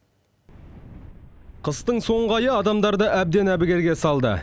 қыстың соңғы айы адамдарды әбден әбігерге салды